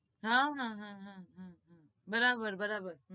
હા હા હા બરાબર